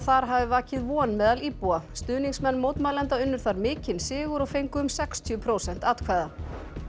þar hafi vakið von meðal íbúa stuðningsmenn mótmælenda unnu þar mikinn sigur og fengu um sextíu prósent atkvæða